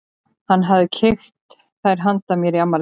Hann hafði keypt þær handa mér í afmælisgjöf.